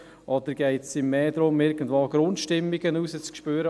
Oder geht es darum, Grundstimmungen zu spüren?